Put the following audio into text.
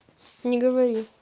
не говори